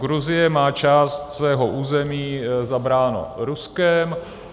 Gruzie má část svého území zabránu Ruskem.